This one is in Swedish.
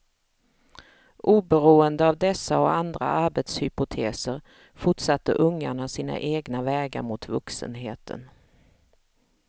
Oberoende av dessa och andra arbetshypoteser fortsatte ungarna sina egna vägar mot vuxenheten.